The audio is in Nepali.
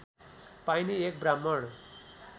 पाइने एक ब्राह्मण